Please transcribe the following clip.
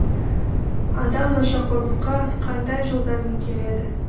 адам нашақорлыққа қандай жолдармен келеді